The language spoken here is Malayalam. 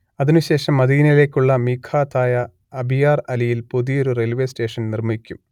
അതിനു ശേഷം മദീനയിലേക്കുള്ള മീഖാത്ത് ആയ അബിയാർ അലിയിൽ പുതിയൊരു റെയിൽവേ സ്റ്റേഷൻ നിർമ്മിക്കും